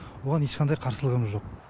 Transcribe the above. оған ешқандай қарсылығымыз жоқ